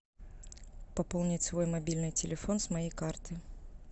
пополнить свой мобильный телефон с моей карты